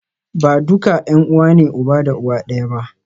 Ba duka ’yan’uwa ne uba da uwa ɗaya ba.